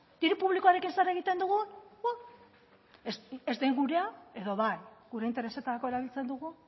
diru publikoarekin zer egiten dugu bua ez den gurea edo bai gure interesetarako erabiltzen dugu